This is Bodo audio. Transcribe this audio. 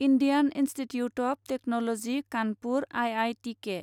Indian institute of technology Kanpur IITK